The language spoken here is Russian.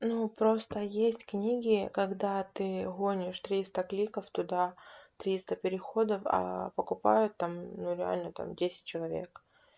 ну просто есть книги когда ты гонишь триста кликов туда триста переходов а покупают там ну реально там десять человек